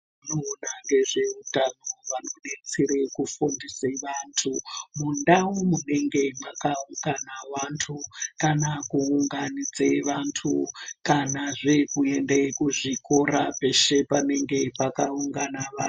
Vanoona ngezveutano vanodetsere kufundise vantu mundau munenge mwakaungana vantu. Kana kuunganidze vantu. Kanazve kuenda kuzvikora peshe panenge pakaungana vanhu.